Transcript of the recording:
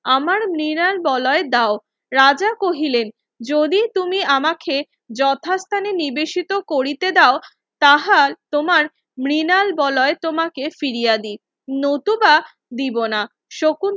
আমার মৃনাল বলয় দেও রাজা কহিলেন যদি তুমি আমাকে যথাস্থানে নিবেদিত করিতে দেও তাহার তোমার মৃনাল বলয় তোমাকে ফিরিয়া দেই নতুবা দেবোনা শকুন